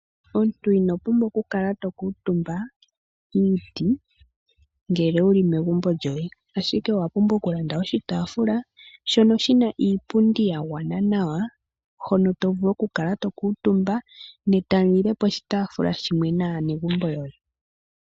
Omuntu inopumbwa okukala tokuutumba kiiti ngele wuli megumbo lyoye ashike owapumbwa okulanda oshitaafula shono shina iipundi yagwana nawa hono to vulu okukala tokuutumba ne tamulile poshitaafula shimwe naanegumbo yoye.